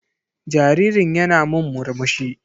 Jaririn yana min murmsuhi.